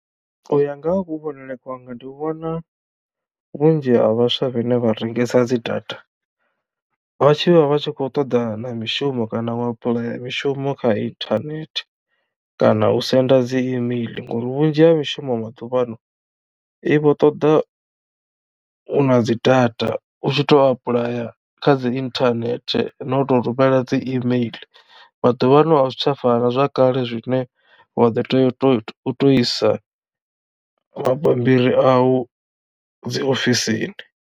U ya nga ha kuvhonele kwanga ndi vhona vhunzhi ha vhaswa vhane vha rengesa dzi data vhatshi vha vha tshi khou ṱoḓa na mishumo kana wa apuḽaya mishumo kha internet kana u senda dzi email, ngori vhunzhi ha mishumo maḓuvhano i vho ṱoḓa u na dzi data u tshi to apuḽaya kha dzi internet na u to rumela dzi email maḓuvha ano a zwi tsha fana zwa kale zwine wa ḓo tea u tou isa mabammbiri a u dzi ofisini.